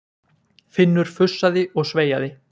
Finnur fussaði og sveiaði.